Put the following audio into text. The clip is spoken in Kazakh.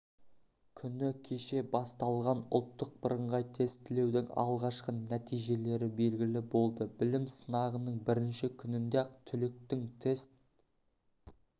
күні кеше басталған ұлттық бірыңғай тестілеудің алғашқы нәтижелері белгілі болды білім сынағының бірінші күнінде-ақ түлектің тест